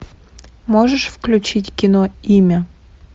можешь включить кино имя